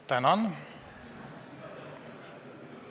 Tänan!